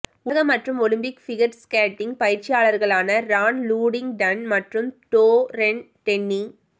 உலக மற்றும் Olympic figure skating பயிற்சியாளர்களான ரான் லூடிங்டன் மற்றும் டோரென் டென்னி